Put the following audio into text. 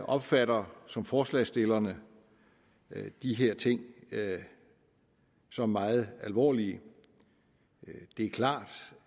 opfatter som forslagsstillerne de her ting som meget alvorlige det er klart